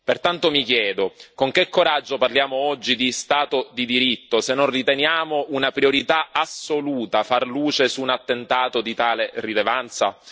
Pertanto mi chiedo con che coraggio parliamo oggi di Stato di diritto se non riteniamo una priorità assoluta far luce su un attentato di tale rilevanza?